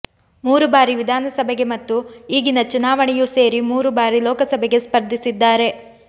ಮೂರು ಬಾರಿ ವಿಧಾನಸಭೆಗೆ ಮತ್ತು ಈಗಿನ ಚುನಾವಣೆಯೂ ಸೇರಿ ಮೂರು ಬಾರಿ ಲೋಕಸಭೆಗೆ ಸ್ಪರ್ಧಿಸಿದ್ದಾರೆ